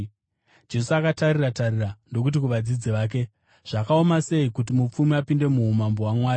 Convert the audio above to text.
Jesu akatarira-tarira ndokuti kuvadzidzi vake, “Zvakaoma sei kuti mupfumi apinde muumambo hwaMwari!”